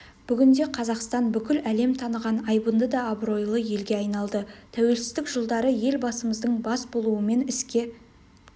бүгінде қазақстан бүкіл лем таныған айбынды да абыройлы елге айналды туелсіздік жылдары елбасымыздың бас болуымен іске